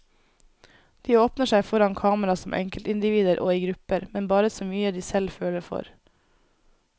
De åpner seg foran kamera som enkeltindivider og i grupper, men bare så mye de selv føler for.